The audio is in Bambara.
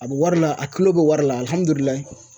A bɛ wari la a kilo bɛ wari la alihamudurilayi